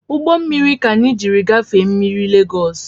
Ugbommiri ka anyị jiri gafee mmiri lagos